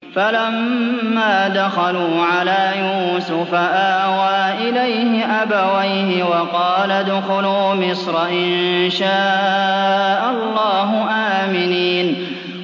فَلَمَّا دَخَلُوا عَلَىٰ يُوسُفَ آوَىٰ إِلَيْهِ أَبَوَيْهِ وَقَالَ ادْخُلُوا مِصْرَ إِن شَاءَ اللَّهُ آمِنِينَ